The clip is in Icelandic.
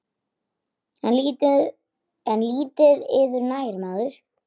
En lítið yður nær maður.